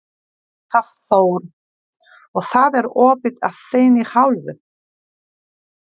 Hafþór: Og það er opið af þinni hálfu?